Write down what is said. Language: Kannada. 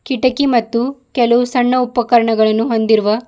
ಕಿಟಕಿ ಮತ್ತು ಕೆಲವು ಸಣ್ಣ ಉಪಕರಣಗಳನ್ನು ಹೊಂದಿರುವ--